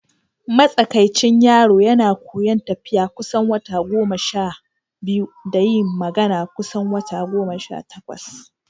Matsakaicin yaro yana koyon tafiya kusan wata goma sha biyu da yin magana kusan wata goma sha takwas.